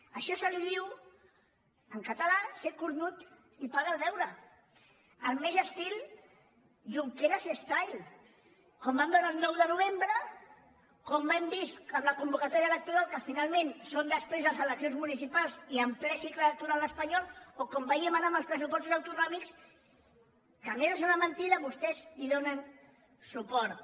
a això se li diu en català ser cornut i pagar el beure al més junqueras style com vam veure el nou de novembre com hem vist amb la convocatòria electoral que finalment són després de les eleccions municipals i en ple cicle electoral espanyol o com veiem ara amb els pressupostos autonòmics que a més de ser una mentida vostès hi donen suport